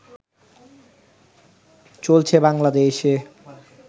চলছে বাংলাদেশে